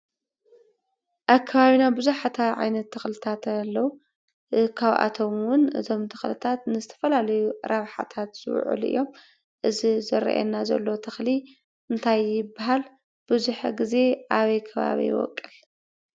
ኣብ ከባብና ብዙሓት ዓይነት ተኽልታት ኣለው። ካብአቶም እውን እዞም ተኽልታት ንዝተፈላለዩ ረሓታት ዝውዕሉ እዮም። እዚ ዝረእየና ዘሎ ተኽሊ እንታይ ይበሃል? ብዙሕ ግዘ ኣበይ ከባቢ ይቦቅል?